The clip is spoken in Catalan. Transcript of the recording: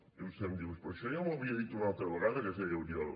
i vostè em diu però això ja m’ho havia dit una altra vegada que es deia oriol